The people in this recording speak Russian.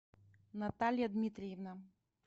наталья дмитриевна